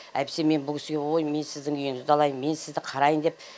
әйтпесе мен бұл кісіге ой мен сіздің үйіңізді алайын мен сізді қарайын деп